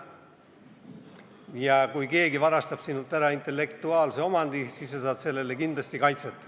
Ja kui keegi varastab sinult ära intellektuaalse omandi, siis sa saad sellele kindlasti kaitset.